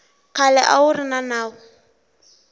khale a wu ri nawu